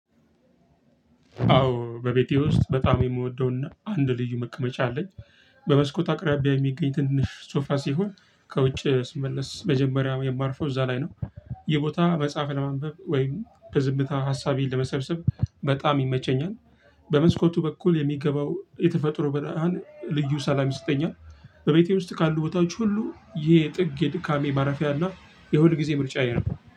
አዎ በቤቴ ውስጥ በጣም የምወደውና አንድ ልዩ መቀመጫ አለኝ በመስኮት አቅራቢያ የሚገኝ ትንሽ ሶፋ ሲሆን ከውጭ ስመለስ መጀመሪያ የማርፈው እዛ ላይ ነው። ይህ ቦታ መጽሐፍ ለማንበብ ወይም በዝምታ ሀሳቤን ለመሰብሰብ በጣም ይመቸኛል። በመስኮቱ በኩል የሚገባው የተፈጥሮ ብርሃን ልዩ ሰላም ይሰጠኛል። በቤቴ ውስጥ ካሉ ቦታዎች ሁሉ ይሄ ጥግ የድካሜ ማረፊያ እና የሁል ጊዜ ምርጫ እየረገ